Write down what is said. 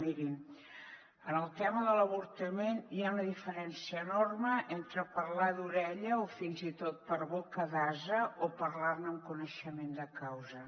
mirin en el tema de l’avortament hi ha una diferència enorme entre parlar d’ore·lla o fins i tot per boca d’ase o parlar·ne amb coneixement de causa